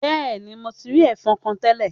Bẹẹni, Mo ti rii ẹfọ̀n kan tẹlẹ.